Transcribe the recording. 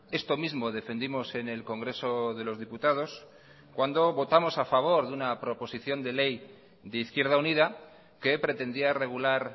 esto mismo defendimos en el congreso de los diputados cuando votamos a favor de una proposición de ley de izquierda unida que pretendía regular